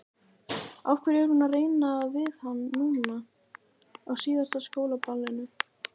Af hverju er hún að reyna við hann núna, á síðasta skólaballinu?